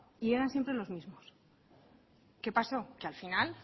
y eran siempre los mismos qué pasó que al final